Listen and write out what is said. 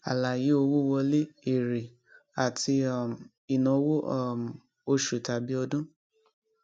àlàyé owó wọlé èrè àti um ináwó um oṣù tàbí ọdún